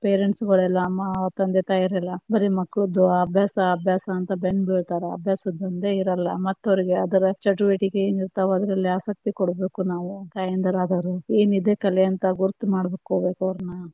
Parents ಎಲ್ಲಾ ತಂದೆ ತಾಯಂದಿರು ಎಲ್ಲಾ ಬರೇ ಮಕ್ಕಳ್ದ್ ಅಭ್ಯಾಸ ಅಭ್ಯಾಸ ಅಂತ ಬೆನ್ನ ಬೀಳತರ, ಅಭ್ಯಾಸದೊಂದೇ ಇರಲ್ಲಾ ಮತ್ತ ಅವ್ರಿಗೇ ಅದರ ಚಟುವಟಿಕೆ ಏನ್ ಇರ್ತಾವ ಅದ್ರಲ್ಲಿ ಆಸಕ್ತಿ ಕೊಡ್ಬೇಕು ನಾವು, ತಾಯಂದಿರು ಆದವರು, ಏನೈತಿ ಕಲೆ ಅಂತ ಗುರುತ ಮಾಡ್ಕೊಬೇಕ ಅವ್ರನ್ನ.